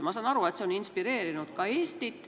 Ma saan aru, et see on inspireerinud ka Eestit.